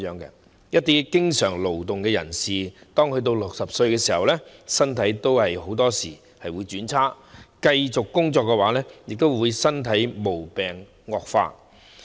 對一些經常勞動的人士來說，他們60歲時，身體往往會轉差，繼續工作便會令身體的毛病惡化。